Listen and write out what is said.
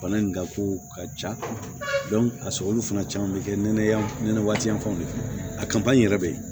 Bana in ka ko ka ca a sɔrɔli fana caman be kɛ nɛnɛ yan waati janfaw de a yɛrɛ be yen